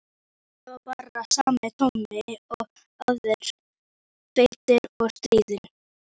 Hún verður að leysa þennan mann.